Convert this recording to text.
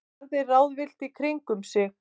Starði ráðvillt í kringum sig.